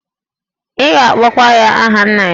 Ị ga-akpọkwa ya aha nna ya.